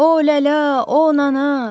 O lələ, o anana.